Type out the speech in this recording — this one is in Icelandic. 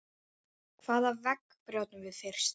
Hvaða vegg brjótum við fyrst?